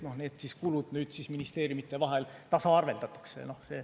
Need kulud nüüd ministeeriumide vahel tasaarveldatakse.